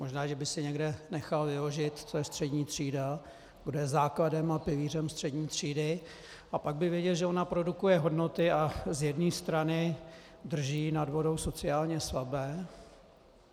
Možná že by si někde nechal vyložit, co je střední třída, kdo je základem a pilířem střední třídy, a pak by věděl, že ona produkuje hodnoty a z jedné strany drží nad vodou sociálně slabé.